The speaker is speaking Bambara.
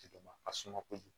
ka suma kojugu